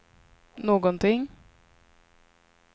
någonting